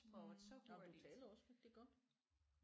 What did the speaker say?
Mh og du taler også rigtig godt